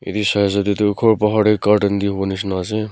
tey du ghor buhar tey garden dey howo nishina ase.